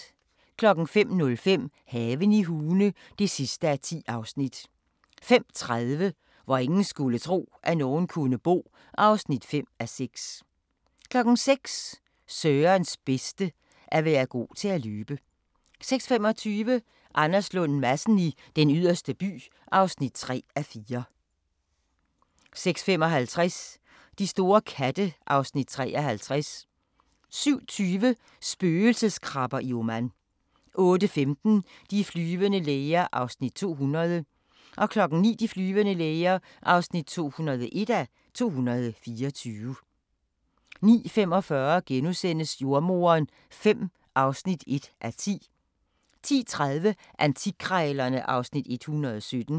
05:05: Haven i Hune (10:10) 05:30: Hvor ingen skulle tro, at nogen kunne bo (5:6) 06:00: Sørens bedste: At være god til at løbe 06:25: Anders Lund Madsen i Den Yderste By (3:4) 06:55: De store katte (Afs. 53) 07:20: Spøgelseskrabber i Oman 08:15: De flyvende læger (200:224) 09:00: De flyvende læger (201:224) 09:45: Jordemoderen V (1:10)* 10:30: Antikkrejlerne (Afs. 117)